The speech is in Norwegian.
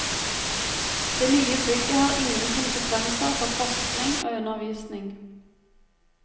Det nye bygget har ingen konsekvenser for forskning og undervisning.